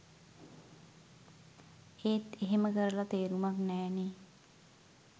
ඒත් එහෙම කරල තේරුමක් නෑනෙ